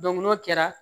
n'o kɛra